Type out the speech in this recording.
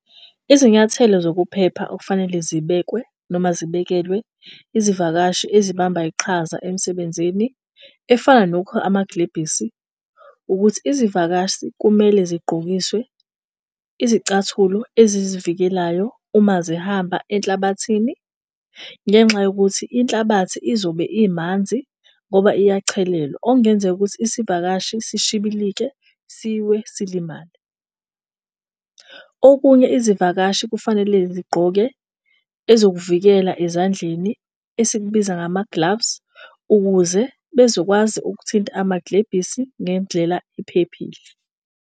Izinyathelo zokuphepha okufanele zibekwe noma zibekelwe izivakashi ezibamba iqhaza emsebenzini efana nokukha amaglebhisi. Ukuthi izivakashi kumele zigqokiswe izicathulo ezizivikelayo uma zihamba enhlabathini ngenxa yokuthi inhlabathi izobe imanzi ngoba iyachelelwa. Okungenzeka ukuthi isivakashi sishibilike siwe silimale. Okunye izivakashi kufanele zigqoke ezokuvikela ezandleni esikubiza ngama-gloves ukuze bezokwazi ukuthinta amaglebhisi ngendlela ephephile.